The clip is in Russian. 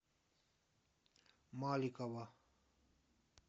маликова